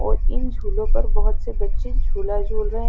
और इन झूले पर बहोत से बच्चे झुला झूल रहे है।